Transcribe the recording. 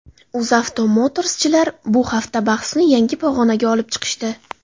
UzAuto Motors’chilar bu hafta bahsni yangi pog‘onaga olib chiqishdi.